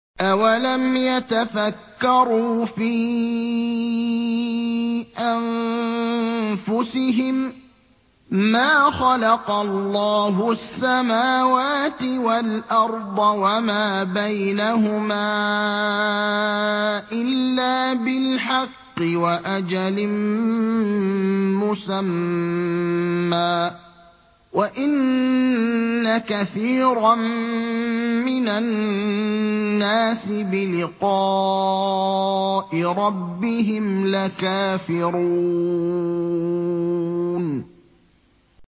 أَوَلَمْ يَتَفَكَّرُوا فِي أَنفُسِهِم ۗ مَّا خَلَقَ اللَّهُ السَّمَاوَاتِ وَالْأَرْضَ وَمَا بَيْنَهُمَا إِلَّا بِالْحَقِّ وَأَجَلٍ مُّسَمًّى ۗ وَإِنَّ كَثِيرًا مِّنَ النَّاسِ بِلِقَاءِ رَبِّهِمْ لَكَافِرُونَ